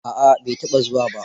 A'a bai taɓa zuwa ba.